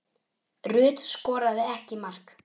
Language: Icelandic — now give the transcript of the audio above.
Rut skoraði ekki mark.